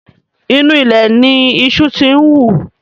Inú ilẹ̀ ni iṣu ti ń wù